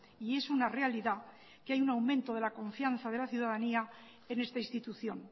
y es una realidad que hay un aumento de la confianza de la ciudadanía en esta institución